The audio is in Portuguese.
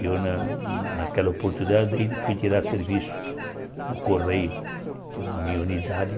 E eu, na naquela oportunidade, fui tirar serviço no Correio, que é a minha unidade.